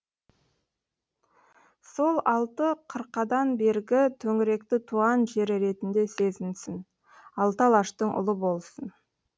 сол алты қырқадан бергі төңіректі туған жері ретінде сезінсін алты алаштың ұлы болсын